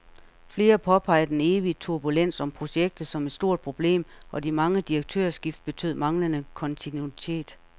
Flere påpeger den evige turbulens om projektet som et stort problem, og de mange direktørskift betød manglende kontinuitet.